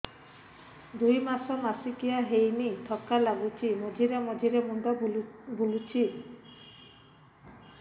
ଦୁଇ ମାସ ମାସିକିଆ ହେଇନି ଥକା ଲାଗୁଚି ମଝିରେ ମଝିରେ ମୁଣ୍ଡ ବୁଲୁଛି